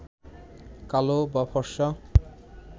কালো বা ফর্সা